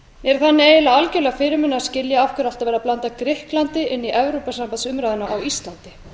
er þannig eiginlega algerlega fyrirmunað að skilja af hverju alltaf er verið að blanda grikklandi inn í evrópusambandsumræðuna á íslandi